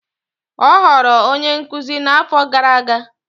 Ọ ghọrọ onye nkuzi n'afọ gara aga.